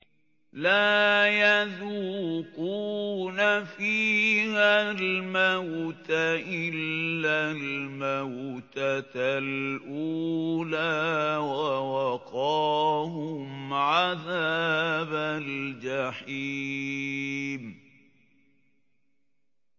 لَا يَذُوقُونَ فِيهَا الْمَوْتَ إِلَّا الْمَوْتَةَ الْأُولَىٰ ۖ وَوَقَاهُمْ عَذَابَ الْجَحِيمِ